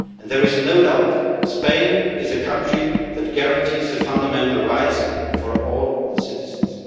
There is no doubt that Spain is a country that guarantees fundamental rights for all citizens.